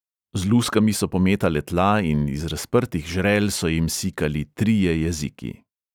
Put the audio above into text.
Z luskami so pometale tla in iz razprtih žrel so jim sikali trije jeziki.